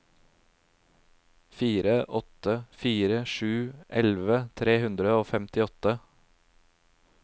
fire åtte fire sju elleve tre hundre og femtiåtte